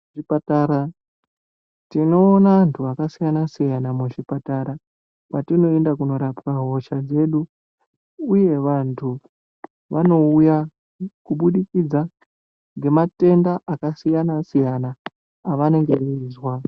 Kuzvipatara tinoona vantu vakasiyana siyana muzvipatara patinoenda korapwa hosha dzedu uye vantu vanouya kubudikidza ngematenda akasiyana siyana avanenge veizwa.